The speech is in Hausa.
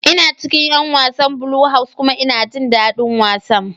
Ina cikin 'yan wasan Blue House kuma ina jin dadin wasan.